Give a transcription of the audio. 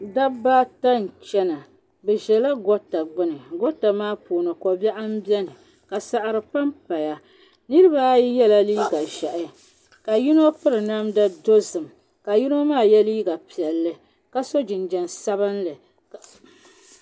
Dabba ata n-chana bɛ ʒela gota gbuni gota maa puuni kobiɛɣu m-beni ka saɣiri pampaya niriba ayi yela ʒɛhi ka yino piri namda dozim ka yino maa ye liiga piɛlli ka so jinjam sabinli.